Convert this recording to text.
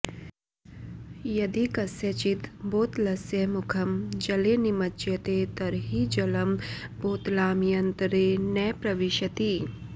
यदि कस्यचिद् बोतलस्य मुखं जले निमज्ज्यते तर्हि जलं बोतलाम्यन्तरे न प्रविशति